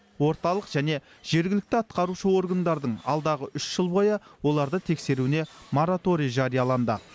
орталық және жергілікті атқарушы органдардың алдағы үш жыл бойы оларды тексеруіне мораторий жарияланды